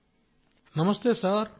Rajesh Prajapati నమస్తేసార్